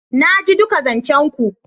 Naji duka zancen ku.